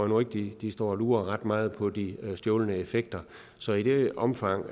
nu ikke de de står og lurer ret meget på de stjålne effekter så i det omfang